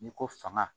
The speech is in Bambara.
N'i ko fanga